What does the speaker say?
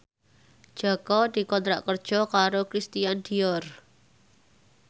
Jaka dikontrak kerja karo Christian Dior